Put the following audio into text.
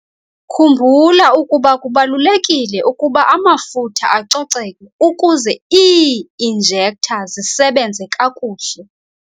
Khumbula ukuba kubalulekile ukuba amafutha acoceke ukuze ii-injektha zisebenze kakuhle.